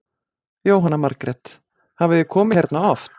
Jóhanna Margrét: Hafið þið komið hérna oft?